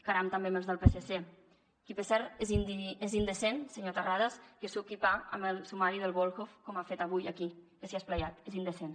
caram també amb els del psc que per cert és indecent senyor terrades que suqui pa amb el sumari del volhov com ha fet avui aquí que s’hi ha esplaiat és indecent